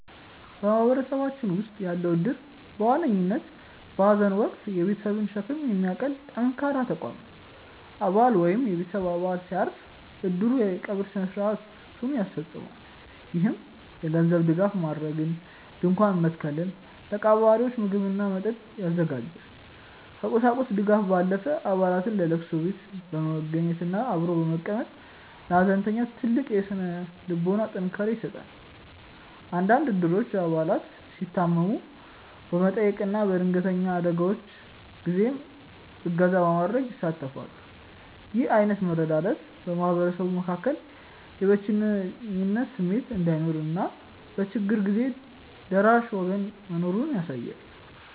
በማህበረሰባችን ውስጥ ያለው እድር በዋነኝነት በሐዘን ወቅት የቤተሰብን ሸክም የሚያቀል ጠንካራ ተቋም ነው። አባል ወይም የቤተሰብ አባል ሲያርፍ፣ እድሩ የቀብር ሥነ ሥርዓቱን ያስፈፅማል። ይህም የገንዘብ ድጋፍ ማድረግን፣ ድንኳን መትከልን፣ ለቀባሪዎች ምግብና መጠጥ ያዘጋጃል። ከቁሳቁስ ድጋፍ ባለፈ፣ አባላት ለቅሶ ቤት በመገኘትና አብሮ በመቀመጥ ለሐዘንተኛው ትልቅ የሥነ ልቦና ጥንካሬ ይሰጣሉ። አንዳንድ እድሮች አባላት ሲታመሙ በመጠየቅና በድንገተኛ አደጋዎች ጊዜም እገዛ በማድረግ ይሳተፋሉ። ይህ ዓይነቱ መረዳዳት በማህበረሰቡ መካከል የብቸኝነት ስሜት እንዳይኖርና በችግር ጊዜ ደራሽ ወገን መኖሩን ያሳያል።